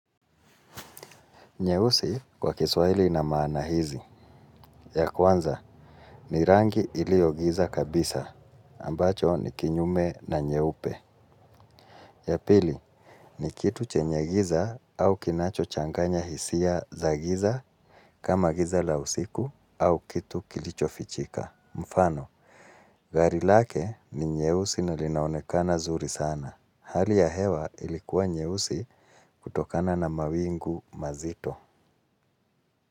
Nyeusi kwa kiswahili ina maana hizi. Ya kwanza, ni rangi iliyo giza kabisa, ambacho ni kinyume na nyeupe. Ya pili, ni kitu chenye giza au kinachochanganya hisia za giza kama giza la usiku au kitu kilicho fichika. Mfano, gari lake ni nyeusi na linaonekana zuri sana. Hali ya hewa ilikuwa nyehusi kutokana na mawingu mazito.